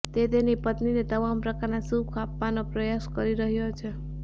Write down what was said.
તે તેની પત્નીને તમામ પ્રકારના સુખ આપવાનો પ્રયાસ કરી રહ્યો છે